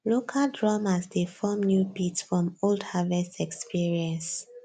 local drummers dey form new beat from old harvest experience